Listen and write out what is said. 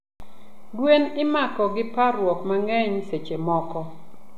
gwen imako gi parruok mangeny sechemoko.